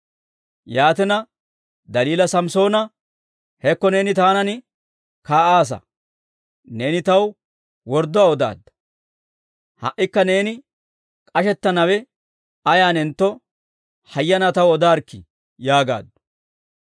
Yaatina, Daliila Samssoona, «Hekko neeni taanan kaa'aasa; neeni taw wordduwaa odaadda. Ha"ikka neeni k'ashettanawe ayaanentto, hayyanaa taw odaarikkii!» yaagaaddu.